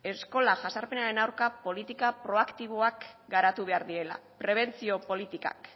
eskola jazarpenaren aurka politika proaktiboak garatu behar direla prebentzio politikak